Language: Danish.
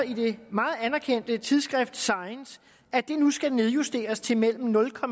i det meget anerkendte tidsskrift science at det nu skal nedjusteres til mellem nul og